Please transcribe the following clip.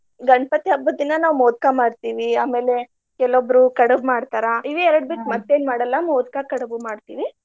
ಗಣಪತಿ ಹಬ್ಬದ ದಿನಾ ನಾವ್ ಮೊದಕಾ ಮಾಡ್ತಿವಿ. ಆಮೇಲೆ ಕೆಲವೊಬ್ರು ಕಡಬ್ ಮಾಡ್ತಾರ ಇವೆರ್ಡ ಮತ್ತೇನ್ ಮಾಡಲ್ಲಾ ಮೊದ್ಕಾ ಕಡಬು ಮಾಡ್ತೀವಿ.